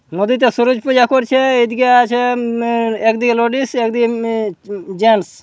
নদীতে সূরজ পূজা করছে। এদিকে আছে উম ম একদিকে লেডিস একদিন উম মে জেন্স ।